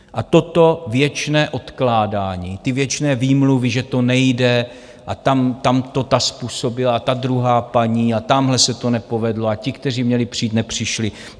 A toto věčné odkládání, ty věčné výmluvy, že to nejde, a tam to ta způsobila a ta druhá paní a tamhle se to nepovedlo a ti, kteří měli přijít, nepřišli...